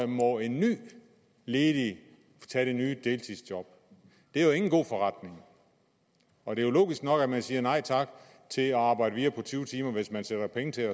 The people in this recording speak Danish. må en ny ledig tage det nye deltidsjob det er jo ikke en god forretning og det er jo logisk nok at man siger nej tak til at arbejde videre på tyve timer hvis man sætter penge til